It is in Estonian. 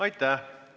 Aitäh!